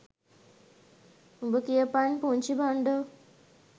උබ කියපන් පුන්චි බන්ඩෝ